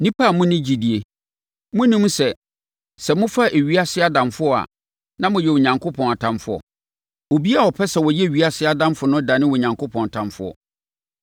Nnipa a monni gyidie! Monnim sɛ, sɛ mofa ewiase adamfo a, na moyɛ Onyankopɔn atamfoɔ? Obiara a ɔpɛ sɛ ɔyɛ ewiase adamfo no dane Onyankopɔn ɔtamfoɔ.